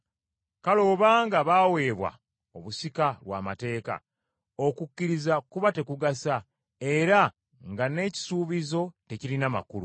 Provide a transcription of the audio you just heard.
Kale obanga baweebwa obusika lw’amateeka, okukkiriza kuba tekugasa, era nga n’ekisuubizo tekirina makulu.